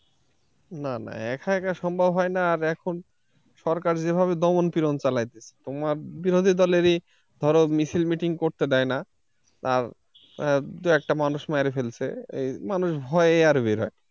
না না একা একা সম্ভব হয় না আর এখন সরকার যেভাবে দমন-পীড়ন চালাইতেছে তোমার বিরোধীদলেরই ধরো মিছিল- meeting করতে দেয় না আর দুই একটা মানুষ মেরে ফেলছে এই মানুষ ভয়ে আর বের হয়না।